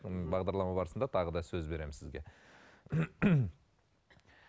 соның бағдарлама барысында тағы да сөз беремін сізге